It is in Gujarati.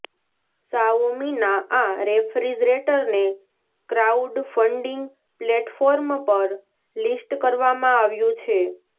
શાઓમીનાં આ રેફ્રિજરેટરને ક્રાઉડફન્ડિંગ પ્લેટફોર્મ પર લિસ્ટ કરવામાં આવ્યું છે